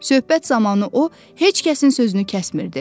Söhbət zamanı o, heç kəsin sözünü kəsmirdi.